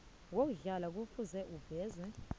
yokuhlala kufuze ivezwe